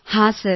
ಹೌದು ಸರ್